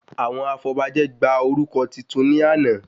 Àwọn afọbajẹ gba orúkọ titun ní àná